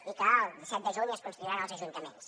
i que el disset de juny es constituiran els ajuntaments